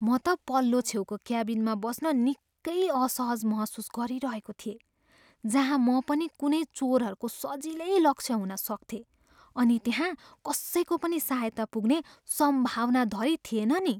म त पल्लो छेउको क्याबिनमा बस्न निकै असहज महसुस गरिरहेको थिए, जहाँ म कुनै पनि चोरहरूको सजिलै लक्ष्य हुन सक्थेँ अनि त्यहाँ कसैको पनि सहायता पुग्ने सम्भावना धरि थिएन नि।